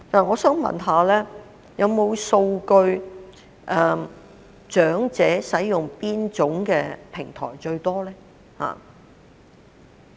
我想問，有否數據顯示長者使用哪種平台最多？